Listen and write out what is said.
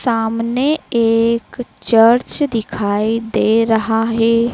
सामने एक चर्च दिखाई दे रहा है।